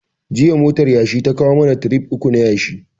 Jiya motar yashi ta kawo mana tirif uku na yashi